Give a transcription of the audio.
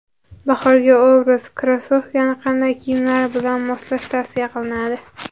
Bahorgi obraz: Krossovkani qanday kiyimlar bilan moslash tavsiya qilinadi?.